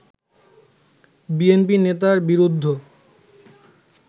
BNP নেতার বিরুদ্ধ